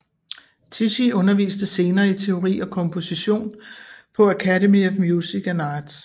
Tichy underviste senere i teori og komposition på Academy of Music and Arts